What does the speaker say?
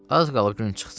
Az qalıb gün çıxsın.